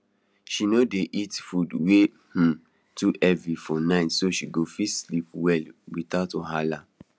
she no dey eat food wey um too heavy for night so she go fit sleep well without wahala